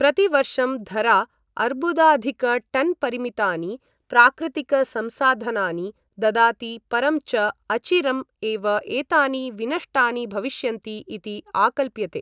प्रतिवर्षं धरा अर्बुदाधिकटन्परिमितानि प्राकृतिकसंसाधनानि ददाति, परं च अचिरम् एव एतानि विनष्टानि भविष्यन्ति इति आकल्प्यते।